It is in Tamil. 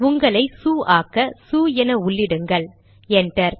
உங்களையே சு ஆக்க சு என உள்ளிடுங்கள் என்டர்